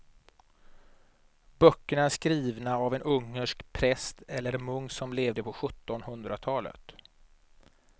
Böckerna är skrivna av en ungersk präst eller munk som levde på sjuttonhundratalet.